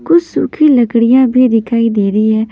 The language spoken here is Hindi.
कुछ सुखी लड़कियां भी दिखाई दे रही है।